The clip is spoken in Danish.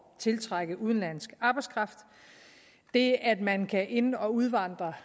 tiltrække udenlandsk arbejdskraft det at man kan ind og udvandre